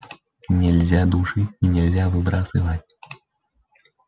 нельзя душить и нельзя выбрасывать